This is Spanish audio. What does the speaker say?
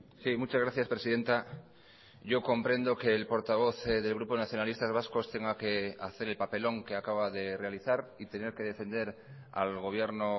sí muchas gracias presidenta yo comprendo que el portavoz del grupo nacionalistas vascos tenga que hacer el papelón que acaba de realizar y tener que defender al gobierno